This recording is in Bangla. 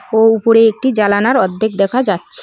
ও উপরে একটি জালানার অর্ধেক দেখা যাচ্ছ--